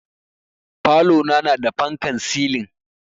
Falona na da fankan silin